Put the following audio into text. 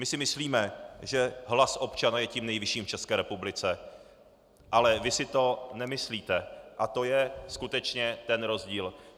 My si myslíme, že hlas občana je tím nejvyšším v České republice, ale vy si to nemyslíte a to je skutečně ten rozdíl.